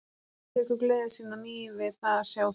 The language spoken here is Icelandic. Hún tekur gleði sína á ný við það að sjá þau.